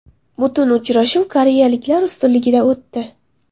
Butun uchrashuv koreyaliklar ustunligida o‘tdi.